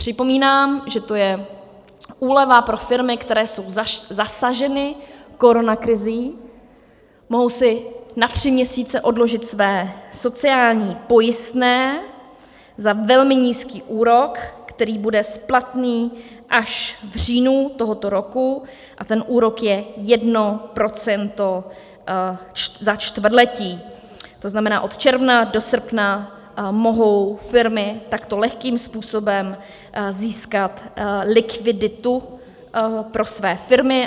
Připomínám, že to je úleva pro firmy, které jsou zasaženy koronakrizí, mohou si na tři měsíce odložit své sociální pojistné za velmi nízký úrok, který bude splatný až v říjnu tohoto roku, a ten úrok je 1 % za čtvrtletí, to znamená, od června do srpna mohou firmy takto lehkým způsobem získat likviditu pro své firmy.